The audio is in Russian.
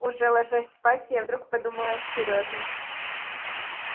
уже ложась спать я вдруг подумала о серёже